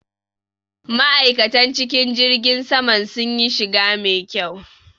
Ma'aikatan cikin jirgin saman sunyi shiga mai kyau.